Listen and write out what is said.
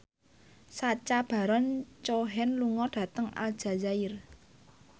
Sacha Baron Cohen lunga dhateng Aljazair